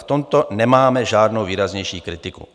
V tomto nemáme žádnou výraznější kritiku.